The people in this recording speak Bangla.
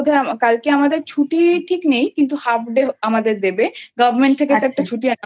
কালকে আমাদের ছুটি ঠিক নেই কিন্তু Halfday আমাদের দেবে আচ্ছা government থেকে তো একটা ছুটি